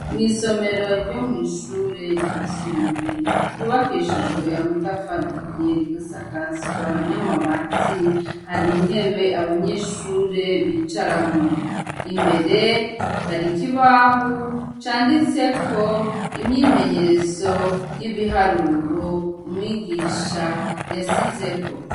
Mw'isomero ryo mw'ishure ryisumbuye ryubakishijwe ya matafarahiye rigasakazwa n'amabati hari ntebe abanyeshure bicaramo imbere hari ikibahu canditseko imyimenyerezo y'ibiharuro umwiginwe isha yasizeko.